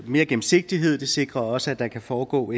mere gennemsigtighed det sikrer også at der kan foregå